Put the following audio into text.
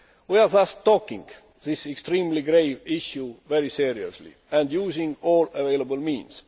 We are thus taking this extremely grave issue very seriously and using all available means.